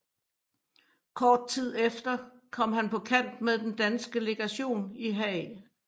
Kort tid efter kom han på kant med den danske legation i Haag